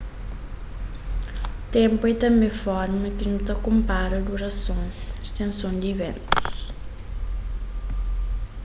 ténpu é tanbê forma ki nu ta konpara durason stenson di iventus